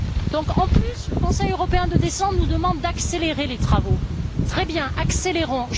Donc, en plus, le Conseil européen de décembre nous demande d'accélérer les travaux. Très bien, accélérons!